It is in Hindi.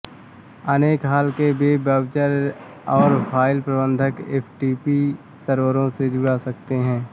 अनेक हाल के वेब ब्राउजर और फाइल प्रबंधक एफटीपी सर्वरों से जुड़ सकते हैं